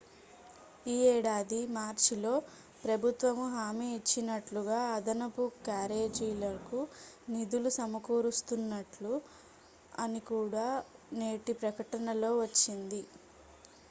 ఈ ఏడాది మార్చిలో ప్రభుత్వము హామీ ఇచ్చినట్లుగా అదనపు క్యారేజీలకు నిధులు సమకూరుస్తున్నట్లు అని కూడా నేటి ప్రకటనలో వచ్చింది